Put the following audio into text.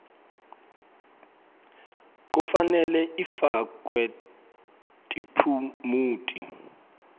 kufanele ifakwe tiphumuti